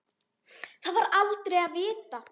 Það var aldrei að vita.